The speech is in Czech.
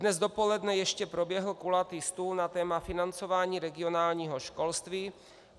Dnes dopoledne ještě proběhl kulatý stůl na téma financování regionálního školství.